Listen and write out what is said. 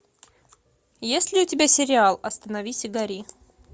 есть ли у тебя сериал остановись и гори